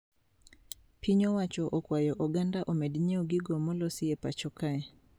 Piny owacho okwayo oganda omed nyieo gigo molosi e pacho kae